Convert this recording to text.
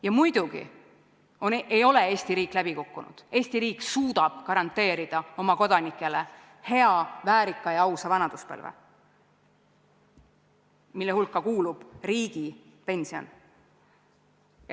Ja muidugi ei ole Eesti riik läbi kukkunud, Eesti riik suudab garanteerida oma kodanikele hea, väärika ja ausa vanaduspõlve, mille hulka kuulub riigipension.